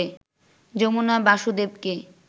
Jamuna বাসুদেবকে